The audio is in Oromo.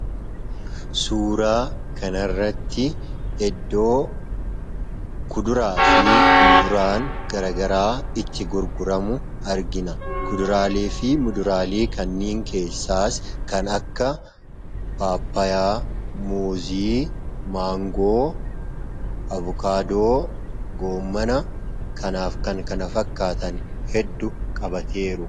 Suuraa kanarratti iddoo kuduraafi muduraan garagaraa itti gurguramu argina. Kuduraaleefi muduraalee kanniin keessaas kan akka paappayyaa, muuzii, maangoo, avukaadoo, goommana kanaaf kan kana fakkaatan hedduu qabatee jiru.